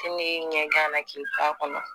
Ne y'i ye ɲɛgan na k'i t'a kɔnɔ